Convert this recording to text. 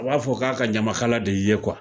A b'a fɔ k'a ka ɲamakala de y'i ye